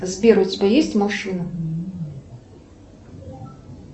сбер у тебя есть машина